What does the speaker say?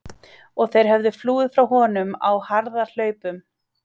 Og þeir höfðu flúið frá honum á harðahlaupum.